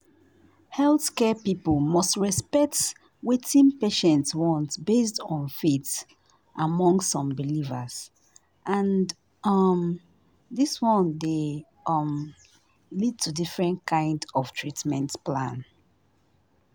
healthcare people must respect wetin patients want based on faith among some believers and um this one dey um lead to different kind of treatment plan